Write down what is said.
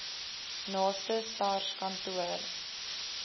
naaste sars kantoor